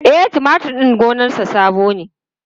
E, tumatur din gonarsa sabo ne.